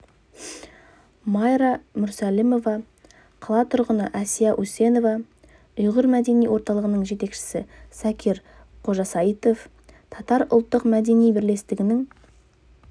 майра мүрсәлімова қала тұрғыны әсия үсенова ұйғыр мәдени орталығының жетекшісі закир қожасайытов татар ұлттық мәдени бірлестігінің